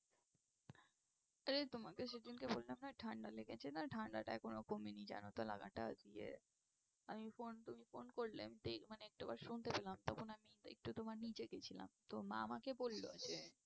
আরে তোমাকে সেদিনকে বললাম না, ঠাণ্ডা লেগেছে না, ঠাণ্ডাটা এখনো কমেনি জানো তো। আজকে phone মানে একটু আবার শুনতে পেলাম। তখন আমি একটু তোমার নীচে গিয়েছিলাম। তো মা আমাকে বলল যে,